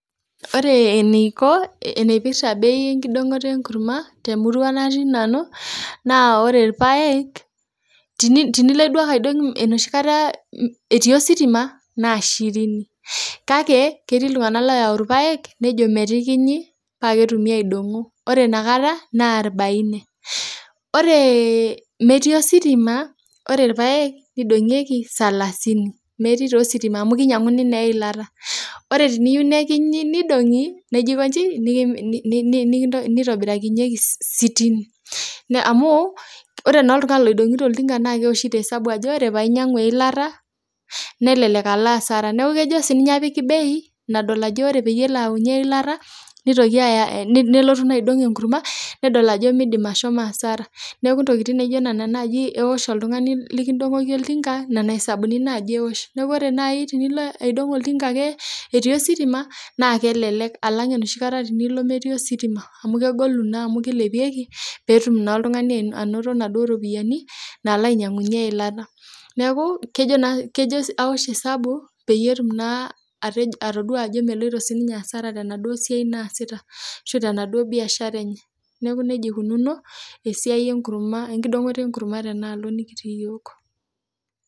Ore enkipirta bei enkidongoto enkurma temurua natii nanu naa ore irpaek tenilo aidong enoshi kataa etii ositima naa shirini kake kitii iltung'ana oyawu irpaek nejo metikinyi paa ketumi aidongo ore enakataa naa orbaini ore metii ositima ore irpaek nidongieki salasini metii taa ositima amu kinyang'uni naa eyilata ore pee eyieu nekinyi nidongi nijo aikoji nitobirakinyieki sitini amu ore naa oltung'ani owoshito oltinga naa kewoshito hesabh Ajo ore peeyie ainyiang'u eyilata nelelek alo asara neeku kejo sininye apik bei nadol Ajo ore peeyie elo ayawunye eyilata nelotu aidong enkurma nedol Ajo midim ashomo asara neeku ntokitin naijio nena najii ewosh oltung'ani likidongoki oltinga Nena hesabuni najii ewosh neeku ore najii tenilo aidong etii ositima naa kelelek alang enoshi kataa metii ositima amu kegolu naa amu kilepieki petum naa oltung'ani anoto enaduo ropiani nalo ainyiang'unye eyilata neeku kejo awosh esabu petum naa atodua naa Ajo melo sininye asara tenaduo siai naasita ashu tenaduo biashara enye neeku nejia eikunono esiai enkidongoto enkurma tenaloo nikitii iyiok